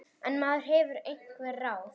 En maður hefur einhver ráð.